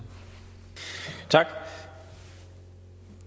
at